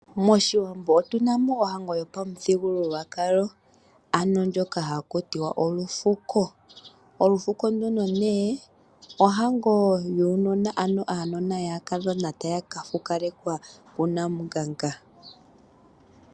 Moshiwambo otunamo ohango yo pamuthigululwakalo ano ndjoka haku tiwa olufuko. Olufuko nduno nee ohango yuunona, ano uunona wuukadhona tawu ka fukalekwa ku Namunganga.